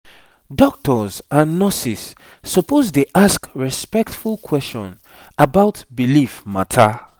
doctors and nurses suppose dey ask respectful question about belief matter